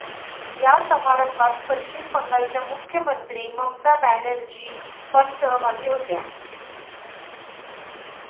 या समारंभात पश्चिम बंगालच्या मुख्यमंत्री ममता बॅनर्जी पण सहभागी होत्या.